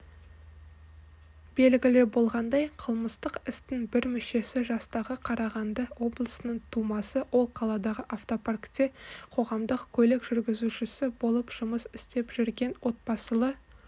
белгілі болғандай қылмыстық істің бір мүшесі жастағы қарағанды облысының тумасы ол қаладағы автопаркте қоғамдық көлік жүргізушісі болып жұмыс істеп жүрген отбасылы